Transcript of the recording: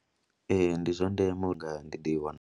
Ee, ndi zwa ndeme uri ndi i wane.